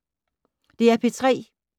DR P3